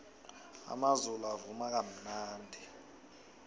amazulu avuma kamnandi